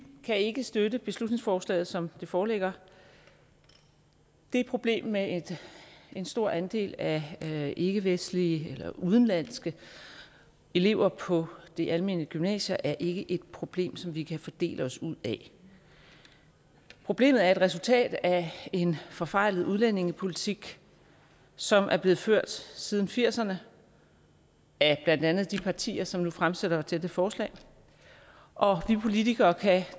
kan ikke støtte beslutningsforslaget som det foreligger det problem med en stor andel af ikkevestlige eller udenlandske elever på det almene gymnasium er ikke et problem som vi kan fordele os ud af problemet er et resultat af en forfejlet udlændingepolitik som er blevet ført siden nitten firserne af blandt andet de partier som har fremsat dette forslag og vi politikere kan